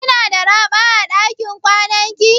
Kina da raɓa a dakin kwanan ki?